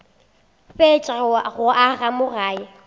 fetša go aga mo gae